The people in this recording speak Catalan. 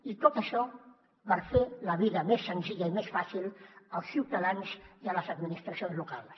i tot això per fer la vida més senzilla i més fàcil als ciutadans i a les administracions locals